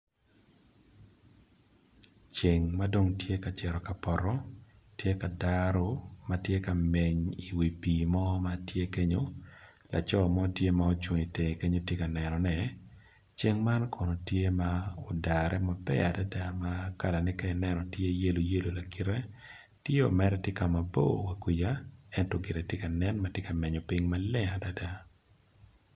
Ceng madong tye ka ceto kapoto tye ka daro matye ka meny i wi pi mo matye kenyo laco mo tye ka itenge kenyo tye ka nenone ceng man kono tye ma odare maber ma kalane ka i nenno tye yellow yelo lakite tye o mere tye kama bor kuca ento gire tye ka nen matye ka menyo ping maleng adada.